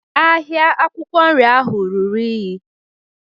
Ahịa akwụkwọ nri ahụ ruru unyi.